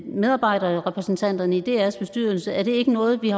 medarbejderrepræsentanterne i drs bestyrelse er det ikke noget vi